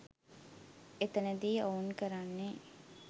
එතැනදි ඔවුන් කරන්නේ